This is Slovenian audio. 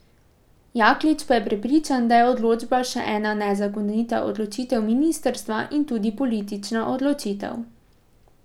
Jaklič pa je prepričan, da je odločba še ena nezakonita odločitev ministrstva in tudi politična odločitev.